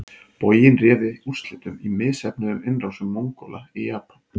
Boginn réði úrslitum í misheppnuðum innrásum Mongóla í Japan.